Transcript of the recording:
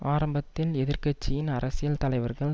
ஆரம்பத்தில் எதிர்கட்சியின் அரசியல் தலைவர்கள்